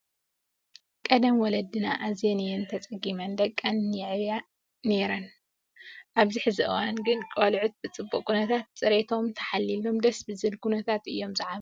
ቀደም ወለዲና ኣዝየን እየን ተፀጊመን ደቀን የዕብያ ናይረን ኣብዚ ሕዚ እዋን ግን ቆልዕት ብፅቡቅ ኩነታት ፅርየቶም ታሓልይሎም ደስ ብዝብል ኩነታት እዮም ዝዓብዩ።